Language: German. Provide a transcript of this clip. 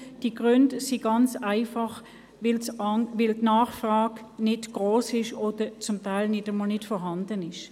Die Gründe dafür sind ganz einfach, dass die Nachfrage nicht gross oder zum Teil nicht einmal vorhanden ist.